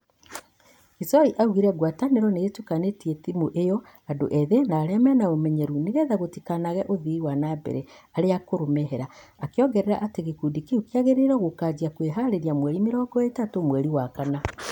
Kisoi augire ngwatanĩro nĩ ĩtukanĩtie tĩmũ ĩyo andũ ethĩ na arĩa mena ũmenyeru nĩgetha gũtikanage ũthii wa nambere aria akũrũ mehera, akĩongerera atĩ gĩkundi kĩũ kĩrĩgĩrĩiruo gũkanjia kwĩharĩrĩria mweri merongo ĩtatũ mweri wa Kana.